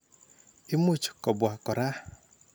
Imuch kopwa kora.